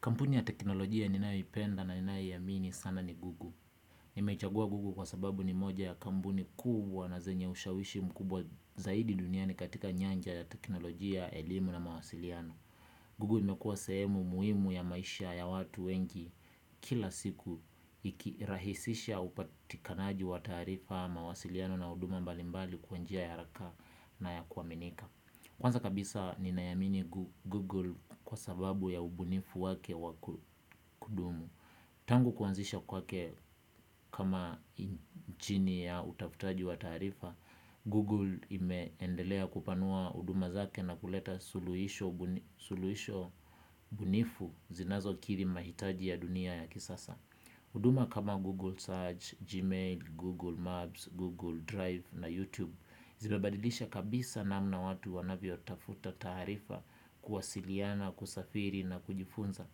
Kampuni ya teknolojia ninayoipenda na ninayoiamini sana ni google. Nimechagua Google kwa sababu ni moja ya kampuni kubwa na zenye ushawishi mkubwa zaidi duniani katika nyanja ya teknolojia, elimu na mawasiliano. Google imekuwa sehemu muhimu ya maisha ya watu wengi kila siku ikirahisisha upatikanaji wa taarifa mawasiliano na huduma mbalimbali kwa njia ya haraka na ya kuaminika. Kwanza kabisa ninaiamini Google kwa sababu ya ubunifu wake wa kudumu. Tangu kuanzisha kwake kama injini ya utafutaji wa taarifa, Google imeendelea kupanua huduma zake na kuleta suluhisho bunifu zinazokiri mahitaji ya dunia ya kisasa. Huduma kama Google Search, Gmail, Google Maps, Google Drive na YouTube zimebadilisha kabisa namna watu wanavyotafuta taarifa kuwasiliana, kusafiri na kujifunza.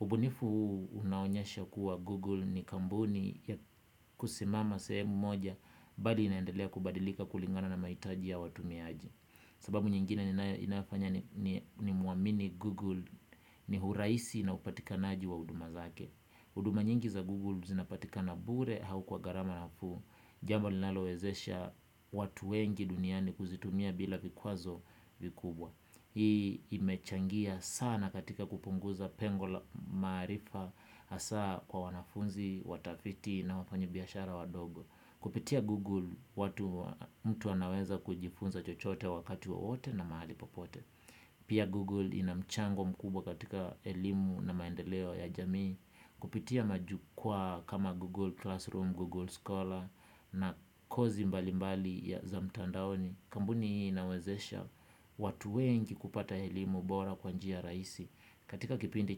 Ubunifu huu unaonyesha kuwa Google si kampuni ya kusimama sehemu moja bali inaendelea kubadilika kulingana na mahitaji ya watumiaji. Sababu nyingine inafanya niamini Google ni urahisi na upatikanaji wa huduma zake. Huduma nyingi za Google zinapatikana bure au kwa gharama nafuu, jambo linalowezesha watu wengi duniani kuzitumia bila vikwazo vikubwa. Hii imechangia sana katika kupunguza pengo maarifa hasa kwa wanafunzi, watafiti na wafanya biashara wadogo. Kupitia Google, mtu anaweza kujifunza chochote wakati wowote na mahali popote. Pia Google inamchango mkubwa katika elimu na maendeleo ya jamii. Kupitia majukwa kama Google Classroom, Google Scholar na kozi mbalimbali za mtandaoni. Kampuni hii inawezesha watu wengi kupata elimu bora kwa njia rahisi. Katika kipindi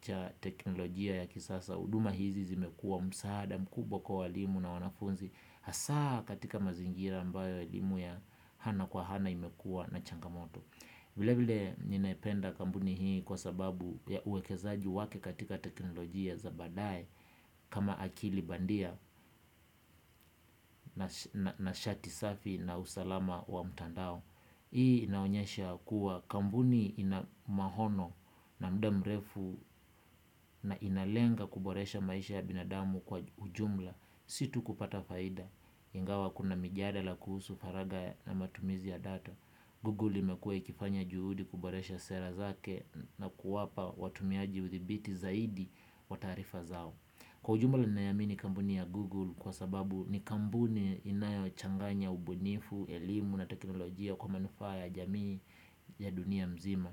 cha teknolojia ya kisasa huduma hizi zimekuwa msaada mkubwa kwa walimu na wanafunzi. Hasa katika mazingira ambayo elimu ya ana kwa ana imekuwa na changamoto vile vile ninaipenda kampuni hii kwa sababu ya uwekezaji wake katika teknolojia za baadaye kama akili bandia nashati safi na usalama wa mtandao. Hii inaonyesha kuwa kampuni ina maono na muda mrefu inalenga kuboresha maisha ya binadamu kwa ujumla. Si tu kupata faida. Ingawa kuna mijadala kuhusu faragha na matumizi ya data. Google imekuwa ikifanya juhudi kuboresha sera zake na kuwapa watumiaji udhibiti zaidi wa taarifa zao. Kwa ujumla ninaiamini kampuni ya Google kwa sababu ni kampuni inayochanganya ubunifu, elimu na teknolojia kwa manufaa ya jamii ya dunia mzima.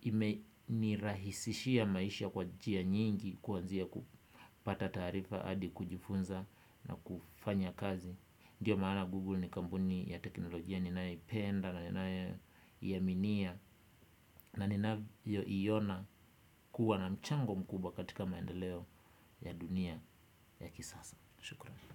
Imenirahisishia maisha kwa njia nyingi kuanzia kupata taarifa hadi kujifunza na kufanya kazi. Ndiyo maana Google ni kampuni ya teknolojia ninayoipenda na ninayoiaminia. Naninavyoiona kuwa na mchango mkubwa katika maendeleo ya dunia ya kisasa. Shukurani.